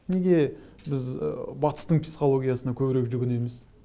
неге біз батыстың психологиясына көбірек жүгінеміз